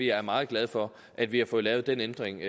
er meget glade for at vi har fået lavet den ændring